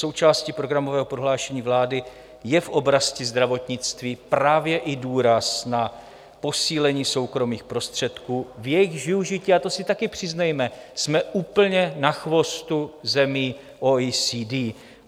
Součástí programového prohlášení vlády je v oblasti zdravotnictví právě i důraz na posílení soukromých prostředků, v jejichž využití, a to si také přiznejme, jsme úplně na chvostu zemí OECD.